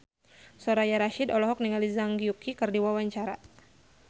Soraya Rasyid olohok ningali Zhang Yuqi keur diwawancara